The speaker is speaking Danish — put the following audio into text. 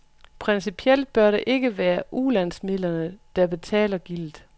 Principielt bør det ikke være ulandsmidlerne, der betaler gildet.